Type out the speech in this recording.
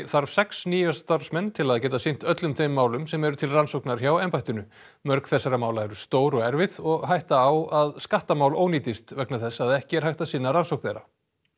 þarf sex nýja starfsmenn til að geta sinnt öllum þeim málum sem eru til rannsóknar hjá embættinu mörg þessara mála eru stór og erfið og hætta á að skattamál ónýtist vegna þess að ekki er hægt að sinna rannsókn þeirra